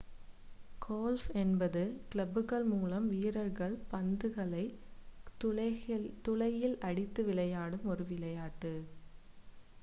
golf என்பது கிளப்புகள் மூலம் வீரர்கள் பந்துகளை துளையில் அடித்து விளையாடும் ஒரு விளையாட்டு